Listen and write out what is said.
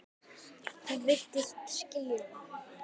Hún virtist skilja það.